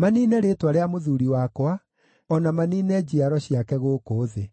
maniine rĩĩtwa rĩa mũthuuri wakwa, o na maniine njiaro ciake gũkũ thĩ.”